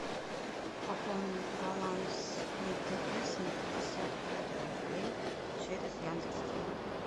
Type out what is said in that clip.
пополнить баланс мтс на пятьдесят пять рублей через яндекс деньги